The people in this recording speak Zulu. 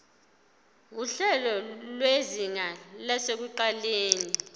nguhlelo lwezinga lasekuqaleni